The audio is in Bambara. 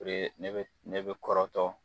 ne bɛ kɔrɔtɔ